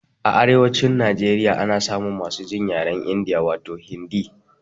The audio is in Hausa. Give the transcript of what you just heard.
A arewacin Najeriya ana samun masu jin yaren India, wato Hindi.